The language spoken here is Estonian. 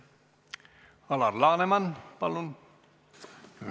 Alar Laneman, palun!